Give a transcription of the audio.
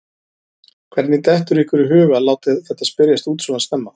Hvernig dettur ykkur í hug að láta þetta spyrjast út svona snemma?